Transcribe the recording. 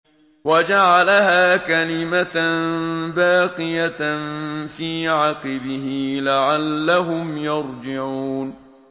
وَجَعَلَهَا كَلِمَةً بَاقِيَةً فِي عَقِبِهِ لَعَلَّهُمْ يَرْجِعُونَ